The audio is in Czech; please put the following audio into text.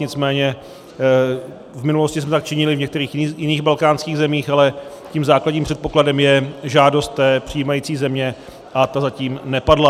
Nicméně v minulosti jsme tak činili v některých jiných balkánských zemích, ale tím základním předpokladem je žádost té přijímající země a ta zatím nepadla.